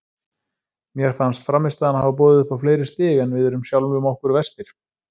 Mér fannst frammistaðan hafa boðið upp á fleiri stig en við erum sjálfum okkur verstir.